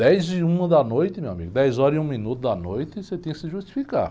Dez e uma da noite, meu amigo, dez horas e um minuto da noite, você tem que se justificar.